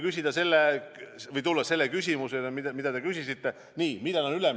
Kui tulla küsimuse juurde, mida te küsisite – millal on üleminek?